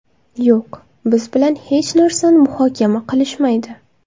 Yo‘q, biz bilan hech narsani muhokama qilishmaydi.